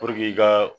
i ka